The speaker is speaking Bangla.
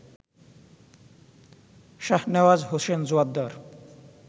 শাহনেওয়াজ হোসেন জোয়ার্দ্দার